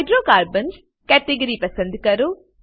hydrocarbons category પસંદ કરો